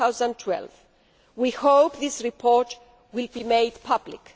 2012. We hope this report will be made public.